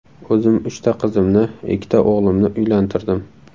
O‘zim uchta qizimni, ikkita o‘g‘limni uylantirdim.